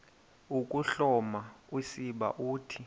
ukuhloma usiba uthi